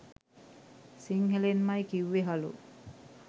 සිංහලෙන්මයි කිව්වේ හලෝ